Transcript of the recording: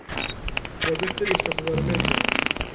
Det er dette vi skal få være med på.